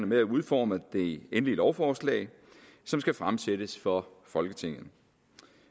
med at udforme det endelige lovforslag som skal fremsættes for folketinget